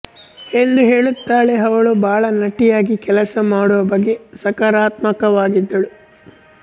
ಎಂದು ಹೇಳುತ್ತಾಳೆ ಅವಳು ಬಾಲನಟಿಯಾಗಿ ಕೆಲಸ ಮಾಡುವ ಬಗ್ಗೆ ಸಕಾರಾತ್ಮಕವಾಗಿದ್ದಳು